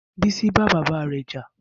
Bisi bá bàbá rẹ̀ jà